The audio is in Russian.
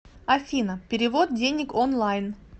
афина перевод денег онлайн